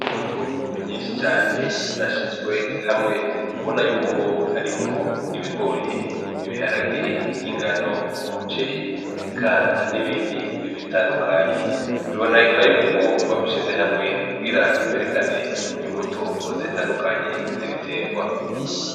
Imbuto nyinshi cane zashizwe hamwe ubona yuko harimwo ,ibigori ,ibiharage, ingano, umuceri eka n'ibindi bitandukanye, biboneka yuko babishize hamwe kugira berekane, imbuto zitandukanye z'ibiterwa.